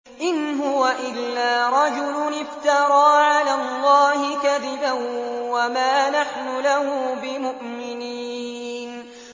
إِنْ هُوَ إِلَّا رَجُلٌ افْتَرَىٰ عَلَى اللَّهِ كَذِبًا وَمَا نَحْنُ لَهُ بِمُؤْمِنِينَ